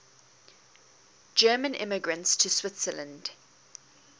german immigrants to switzerland